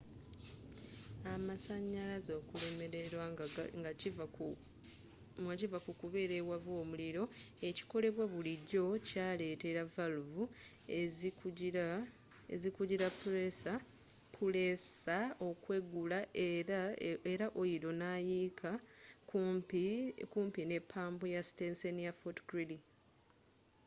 amasanyalaze okulemererwa nga kiva mu kukebera owava omuliro ekikolebwa bulijjo kyaleetera valuvu ezikugira puleesa okweggula era oyiro nayiika kumpi ne pampu ya siteseni ya fort greely